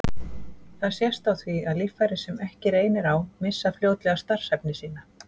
Það sést á því að líffæri, sem ekki reynir á, missa fljótlega starfshæfni sína.